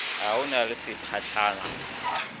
a o na le seopahlogwana